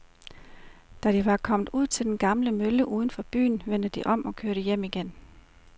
Da de var kommet ud til den gamle mølle uden for byen, vendte de om og kørte hjem igen.